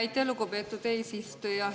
Aitäh, lugupeetud eesistuja!